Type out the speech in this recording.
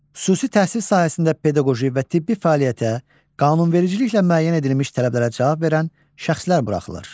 Xüsusi təhsil sahəsində pedaqoji və tibbi fəaliyyətə qanunvericiliklə müəyyən edilmiş tələblərə cavab verən şəxslər buraxılır.